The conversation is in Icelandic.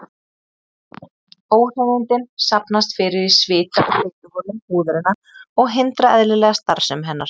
Óhreinindin safnast fyrir í svita- og fituholum húðarinnar og hindra eðlilega starfsemi hennar.